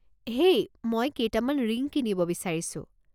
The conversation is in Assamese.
হেই, মই কেইটামান ৰিং কিনিব বিচাৰিছোঁ।